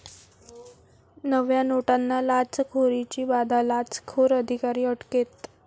नव्या नोटांना लाचखोरीची बाधा, लाचखोर अधिकारी अटकेत